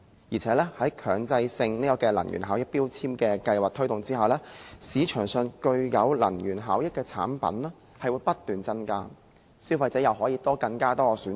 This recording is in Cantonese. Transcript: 再者，在強制性標籤計劃推動下，市場上具有能源效益的產品會不斷增加，消費者又可以有更多選擇。